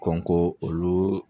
Kɔn k'olu